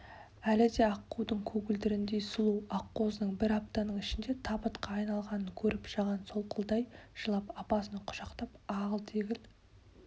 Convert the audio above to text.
әлі де аққудың көгілдіріндей сұлу аққозының бір аптаның ішінде табытқа айналғанын көріп жаған солқылдай жылап апасын құшақтап ағыл-тегіл